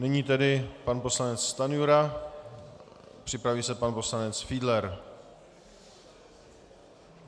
Nyní tedy pan poslanec Stanjura, připraví se pan poslanec Fiedler.